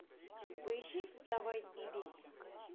поищи вставай и бейся